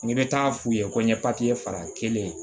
N'i bɛ taa f'u ye ko n ye fara n kelen ye